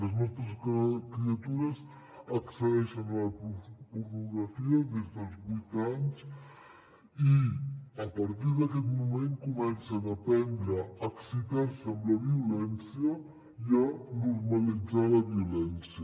les nostres criatures accedeixen a la pornografia des dels vuit anys i a partir d’aquest moment comencen a aprendre a excitar se amb la violència i a normalitzar la violència